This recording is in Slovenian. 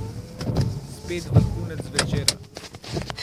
Spet vrhunec večera.